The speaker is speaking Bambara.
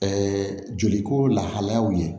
Ɛɛ joli ko lahalayaw ye